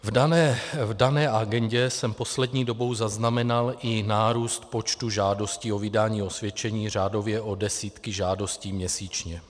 V dané agendě jsem poslední dobou zaznamenal i nárůst počtu žádostí o vydání osvědčení, řádově o desítky žádostí měsíčně.